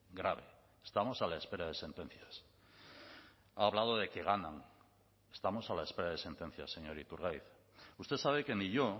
grave estamos a la espera de sentencias ha hablado de que ganan estamos a la espera de sentencias señor iturgaiz usted sabe que ni yo